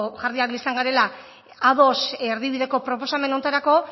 jarriak izan garela ados erdibideko proposamen honetarako